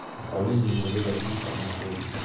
управление мвд россии по амурской области